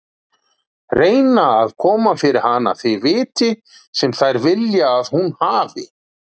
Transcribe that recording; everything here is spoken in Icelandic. Reyna að koma fyrir hana því viti sem þær vilja að hún hafi.